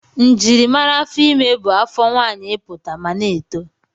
Njimara afọ ime bụ afọ nwaanyị ịpụta ma na-eto.